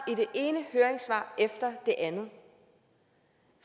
i det ene høringssvar efter det andet